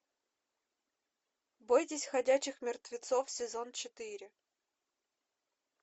бойтесь ходячих мертвецов сезон четыре